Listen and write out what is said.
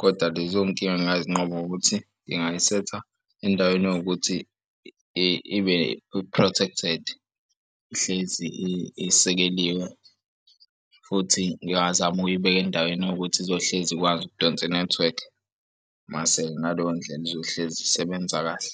koda lezo nkinga nginganqoba ngokuthi ngingayisetha endaweni ewukuthi ibe i-protected ihlezi isekeliwe futhi ngingazama ukuyibeka endaweni ewukuthi izohlezi ikwazi ukudonsa inethiwekhi mase ngaleyo ndlela izohlezi isebenza kahle.